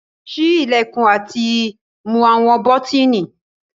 Ṣii ilẹkun ati mu awọn bọtini